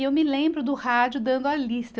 E eu me lembro do rádio dando a lista.